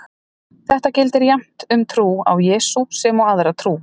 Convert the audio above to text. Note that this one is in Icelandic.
Þetta gildir jafnt um trú á Jesú sem aðra trú.